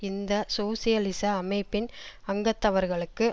இந்த சோசியலிச அமைப்பின் அங்கத்தவர்களுக்கு